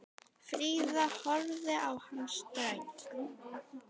Fríða horfði á hann ströng.